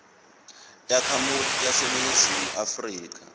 takhamuti taseningizimu afrika